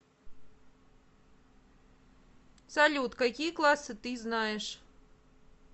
салют какие классы ты знаешь